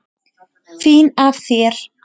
Fín af þér.